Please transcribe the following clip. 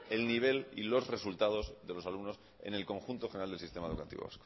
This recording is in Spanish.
el nivel y los resultados de los alumnos en el conjunto general del sistema educativo